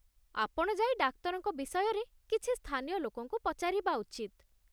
ଆପଣ ଯାଇ ଡାକ୍ତରଙ୍କ ବିଷୟରେ କିଛି ସ୍ଥାନୀୟ ଲୋକଙ୍କୁ ପଚାରିବା ଉଚିତ୍।